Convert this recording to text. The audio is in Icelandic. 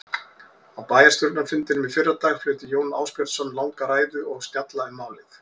Á bæjarstjórnarfundinum í fyrradag flutti Jón Ásbjörnsson langa ræðu og snjalla um málið.